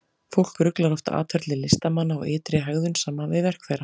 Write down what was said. Fólk ruglar oft atferli listamanna og ytri hegðun saman við verk þeirra.